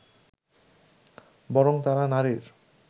বরং তারা নারীর